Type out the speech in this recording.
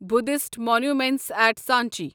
یبددھسٹ monuments at Sanchi